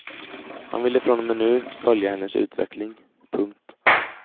Han ville från och med nu följa hennes utveckling. punkt